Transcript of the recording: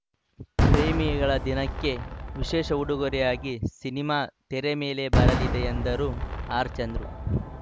ಪ್ರೇಮಿಗಳ ದಿನಕ್ಕೆ ವಿಶೇಷ ಉಡುಗೊರೆಯಾಗಿ ಸಿನಿಮಾ ತೆರೆ ಮೇಲೆ ಬರಲಿದೆ ಎಂದರು ಆರ್‌ ಚಂದ್ರು